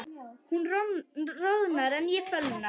Hún roðnar en ég fölna.